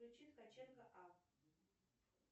включи ткаченко а